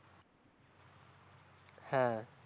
হ্যাঁ